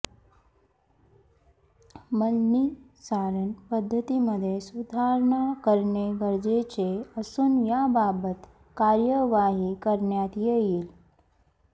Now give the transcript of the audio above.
मलनिस्सारण पद्धतीमध्ये सुधारणा करणे गरजेचे असून याबाबत कार्यवाही करण्यात येईल